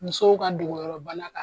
Musow ka dogoyɔrɔ bana ka